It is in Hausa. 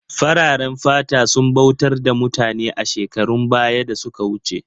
Fararen fata sun bautar da mutane a shekarun baya da suka wuce